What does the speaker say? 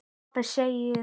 Pabbi segðu sögu.